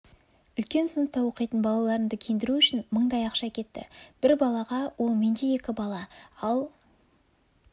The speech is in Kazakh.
үлкен сыныпта оқитын балаларымды киіндіру үшін мыңдай ақша кетті бір балаға ол менде екі бала ал